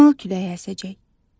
Şimal küləyi əsəcək.